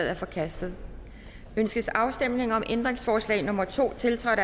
er forkastet ønskes afstemning om ændringsforslag nummer to tiltrådt